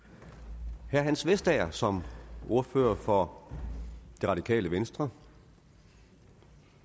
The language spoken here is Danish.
ja hans vestager som ordfører for det radikale venstre